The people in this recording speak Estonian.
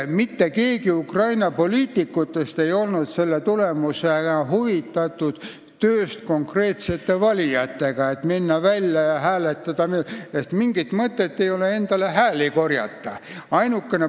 Mitte keegi Ukraina poliitikutest ei olnud selle tulemusena huvitatud tööst valijatega, sest mingit mõtet ei olnud minna välja ja hääli koguda.